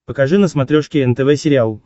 покажи на смотрешке нтв сериал